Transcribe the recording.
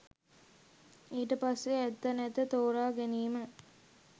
ඊට පස්සේ ඇත්ත නැත්ත තෝරාගැනීම